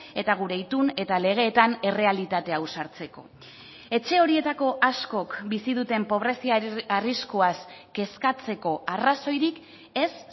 eta gure itun eta legeetan errealitate hau sartzeko etxe horietako askok bizi duten pobrezia arriskuaz kezkatzeko arrazoirik ez